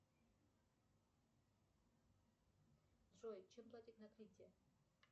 джой чем платить на крите